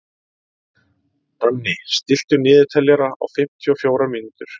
Danni, stilltu niðurteljara á fimmtíu og fjórar mínútur.